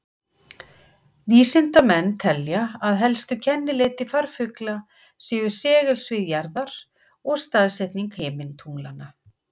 Vísindamenn telja að helstu kennileiti farfugla séu segulsvið jarðar og staðsetning himintunglanna.